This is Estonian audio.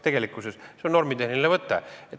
See on normitehniline võte.